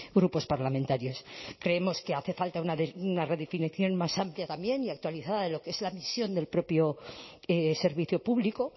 grupos parlamentarios creemos que hace falta una redefinición más amplia también y actualizada de lo que es la misión del propio servicio público